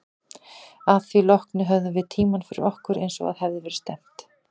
Að því loknu höfðum við tímann fyrir okkur, eins og að hafði verið stefnt.